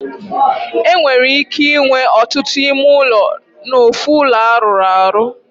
E nwere ike inwe otutu ime ulo n'ofu ulo aruru aru.